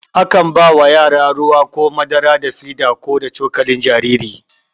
A kan ba yara ruwa ko madara da fida ko da cokalin jariri.